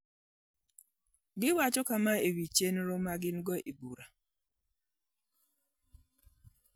Giwacho kama e wi chenro ma gin-go: